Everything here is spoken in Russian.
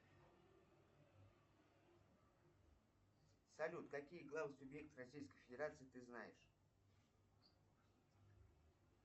салют какие главы субъектов российской федерации ты знаешь